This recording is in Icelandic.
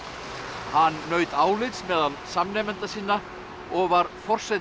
hann naut álits meðal samnemenda sína og var forseti